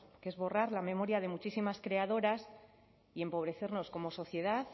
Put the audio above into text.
que es borrar la memoria de muchísimas creadoras y empobrecernos como sociedad